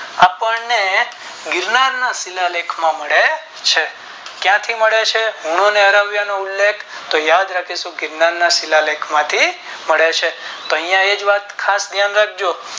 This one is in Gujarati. આપણે ગિરનાર ના શિલાલેખ માં મળે છે ક્યાંથી મળે છે હુંનો ને હરાવ્યા એનો ઉલ્લેખ તો યાદ રાખીશું ગિરનાર ના શિલાલેખ માંથી મળે છે તો આયા એક વાત ખાસ યાદ રાખજો